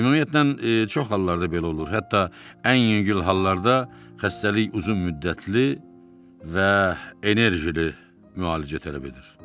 Ümumiyyətlə çox hallarda belə olur, hətta ən yüngül hallarda xəstəlik uzunmüddətli və enerjili müalicə tələb edir.